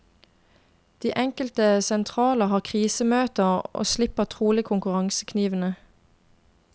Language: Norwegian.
De enkelte sentraler har krisemøter og sliper trolig konkurranseknivene.